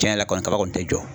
Cɛn yɛrɛ la kɔni kaba kɔni tɛ jɔ